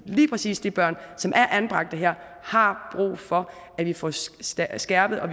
lige præcis de børn som er anbragt her har brug for at vi får skærpet og